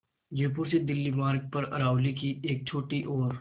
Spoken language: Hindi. जयपुर से दिल्ली मार्ग पर अरावली की एक छोटी और